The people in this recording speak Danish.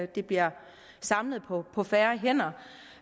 det bliver samlet på på færre hænder